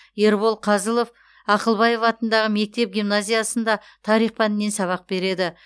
ербол қазылов ақылбаев атындағы мектеп гимназиясында тарих пәнінен сабақ береді